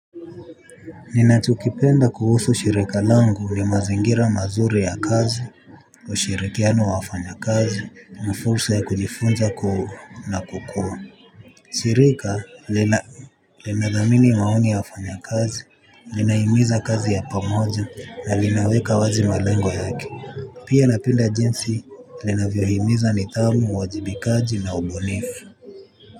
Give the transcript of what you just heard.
Ninachokipenda kuhusu shirika langu ni mazingira mazuri ya kazi. Ushirikiano wa wafanya kazi na fulsa ya kujifunza na kukua shirika lina linadhamini maoni ya wafanya kazi linahimiza kazi ya pamoja na linaweka wazi malengo yake. Pia napenda jinsi linavyohimiza nidhamu uwajibikaji na ubunifu.